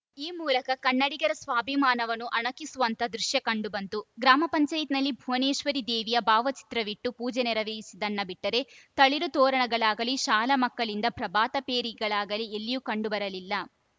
ಈ ಮೂಲಕ ಕನ್ನಡಿಗರ ಸ್ವಾಭಿಮಾನವನ್ನು ಅಣಕಿಸುವಂಥ ದೃಶ್ಯ ಕಂಡು ಬಂತು ಗ್ರಾಮ ಪಂಚಾಯತ್ ನಲ್ಲಿ ಭುವನೇಶ್ವರಿ ದೇವಿಯ ಭಾವಚಿತ್ರವಿಟ್ಟು ಪೂಜೆ ನೆರವೇರಿಸಿದ್ದನ್ನ ಬಿಟ್ಟರೆ ತಳಿರುತೋರಣಗಳಾಗಲಿ ಶಾಲಾ ಮಕ್ಕಳಿಂದ ಪ್ರಭಾತಪೇರಿಗಳಾಗಲಿ ಎಲ್ಲಿಯೂ ಕಂಡುಬರಲಿಲ್ಲ